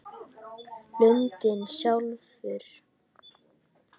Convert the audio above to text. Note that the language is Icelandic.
Lundinn sjálfur